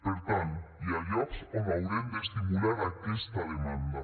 per tant hi ha llocs on haurem d’estimular aquesta demanda